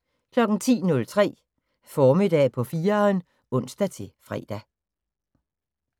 10:03: Formiddag på 4'eren (ons-fre)